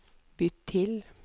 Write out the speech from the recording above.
bytt til